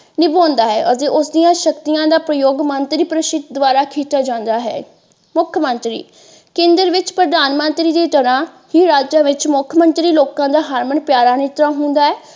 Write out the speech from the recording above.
ਨਿਭਾਉਂਦਾ ਹੈ ਅਤੇ ਉਸਦੀਆਂ ਸ਼ਕਤੀਆਂ ਦਾ ਪ੍ਰਯੋਗ ਮੰਤਰੀ ਪਰਿਸ਼ਦ ਦੁਆਰਾ ਕੀਤਾ ਜਾਂਦਾ ਹੈ। ਮੁੱਖਮੰਤਰੀ ਕੇਂਦਰ ਵਿੱਚ ਪ੍ਰਧਾਨਮੰਤਰੀ ਦੀ ਤਰ੍ਹਾਂ ਹੀ ਰਾਜਾਂ ਵਿੱਚ ਮੁੱਖ ਮੰਤਰੀ ਲੋਕਾਂ ਦਾ ਹਰਮਨ ਪਿਆਰਾ ਨੇਤਾ ਹੁੰਦਾ ਹੈ।